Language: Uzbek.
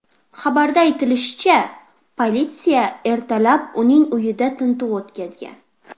Xabarda aytilishicha, politsiya ertalab uning uyida tintuv o‘tkazgan.